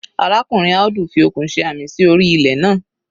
Arákùnrin Audu fi okùn ṣe àmì sí orí ilẹ̀ naa.